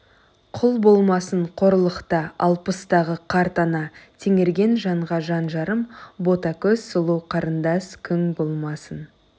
құл болмасын қорлықта алпыстағы қарт ана теңерген жанға жан жарым бота көз сұлу қарындас күң болмасын